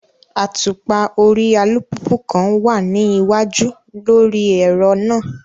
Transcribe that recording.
Atupa ori alupupu kan wa ni iwaju lori ẹrọ naa